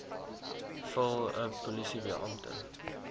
vul n polisiebeampte